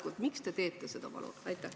Palun, miks te teete seda?